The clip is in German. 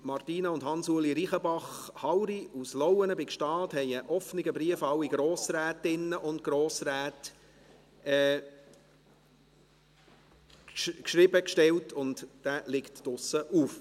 Martina und Hansueli Reichenbach-Hauri aus Lauenen bei Gstaad haben einen offenen Brief an alle Grossrätinnen und Grossräte geschrieben, und dieser liegt draussen auf.